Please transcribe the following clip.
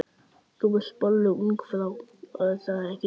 Þú vilt bollu, ungfrú, er það ekki?